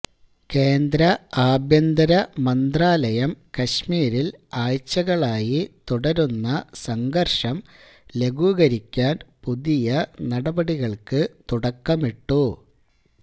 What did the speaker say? കേന്ദ്ര ആഭ്യന്തര മന്ത്രാലയം കശ്മീരില് ആഴ്ചകളായി തുടരുന്ന സംഘര്ഷം ലഘൂകരിക്കാന് പുതിയ നടപടികള്ക്ക് തുടക്കമിട്ടു